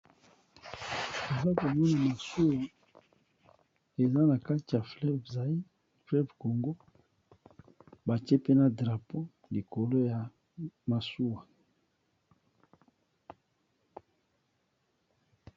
Naza komona masuwa eza na kati ya Ebale ya congo ,bati pe drapeau likolo ya masuwa.